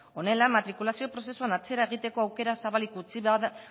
honela matrikulazio prozesuan atzera egiteko aukera